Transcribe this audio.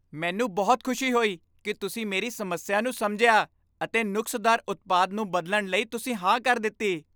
ਮੈਨੂੰ ਬਹੁਤ ਖੁਸ਼ੀ ਹੋਈ ਕਿ ਤੁਸੀਂ ਮੇਰੀ ਸਮੱਸਿਆ ਨੂੰ ਸਮਝਿਆ ਅਤੇ ਨੁਕਸਦਾਰ ਉਤਪਾਦ ਨੂੰ ਬਦਲਣ ਲਈ ਤੁਸੀਂ ਹਾਂ ਕਰ ਦਿੱਤੀ।